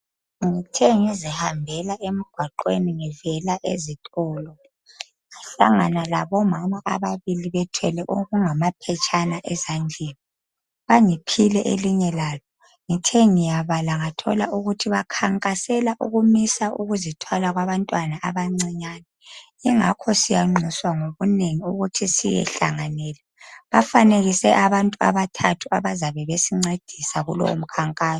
Ngithe ngizihambela emgwaqweni ngivela ezitolo ngahlangana labomama ababili bethwele amaphetshane ezandleni ngithe ngisithi ngiyabala ngabona ukuthi bakhankasela ukumisa ukuzithwala kwabantwana abancinyane yingakho siyanxuswa ngobunengi ukuthi siyohlanganela bafake abantu abathathu abayabe bencedisa kulowomkankaso